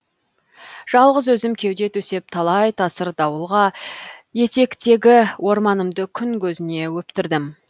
жалғыз өзім кеуде төсеп талай тасыр дауылға етектегі орманымды күн көзіне өптірдім